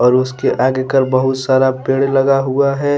उसके आगे कर बहुत सारा पेड़ लगा हुआ है।